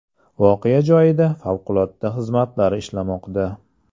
Voqea joyida favqulodda xizmatlar ishlamoqda.